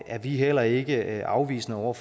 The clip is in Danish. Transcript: er vi heller ikke afvisende over